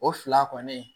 O fila kɔni